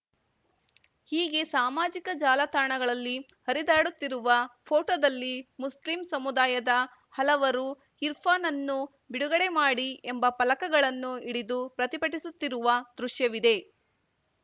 ಹೀಗೆ ಸಾಮಾಜಿಕ ಜಾಲತಾಣಗಳಲ್ಲಿ ಹರಿದಾಡುತ್ತಿರುವ ಫೋಟೋದಲ್ಲಿ ಮುಸ್ಲಿಂ ಸಮುದಾಯದ ಹಲವರು ಇರ್ಫಾನ್‌ನನ್ನು ಬಿಡುಗಡೆ ಮಾಡಿ ಎಂಬ ಫಲಕಗಳನ್ನು ಹಿಡಿದು ಪ್ರತಿಭಟಿಸುತ್ತಿರುವ ದೃಶ್ಯವಿದೆ